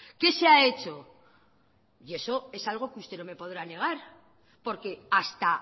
qué se ha hecho y eso es algo que usted no me podrá negar porque hasta